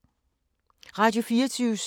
Radio24syv